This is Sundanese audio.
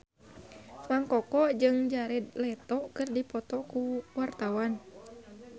Mang Koko jeung Jared Leto keur dipoto ku wartawan